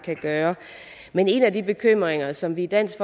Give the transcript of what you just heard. kan gøre men en af de bekymringer som vi i dansk